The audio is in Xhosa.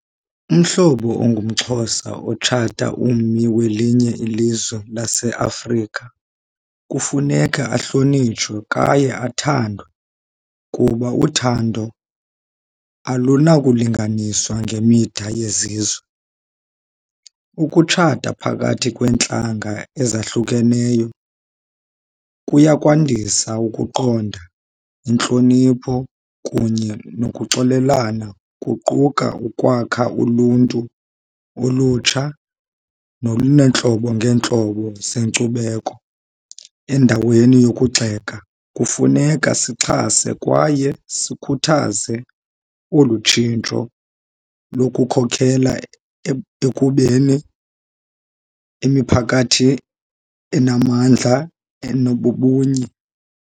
Umhlobo ongumXhosa otshata ummi welinye ilizwe laseAfrika kufuneka ahlonitshwe kwaye athandwe kuba uthando alunakulinganiswa ngemida yezizwe. Ukutshata phakathi kweentlanga ezahlukeneyo kuya kwandisa ukuqonda, intlonipho, kunye nokuxolelana. Kuquka ukwakha uluntu, ulutsha noluneentlobo ngeentlobo zenkcubeko. Endaweni yokugxeka kufuneka sixhase kwaye sikhuthaze olu tshintsho lokukhokela ekubeni emiphakathi enamandla enobubunye.